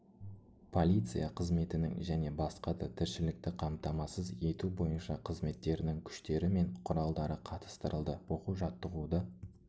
полиция қызметінің және басқа да тіршілікті қамтамасыз ету бойынша қызметтерінің күштері мен құралдары қатыстырылды оқу-жаттығуды